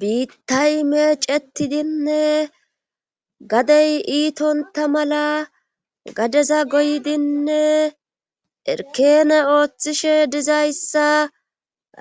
Biittay meecetidinne gadey iitonta mala gadeza goydinne erkene ooththishe dizayssa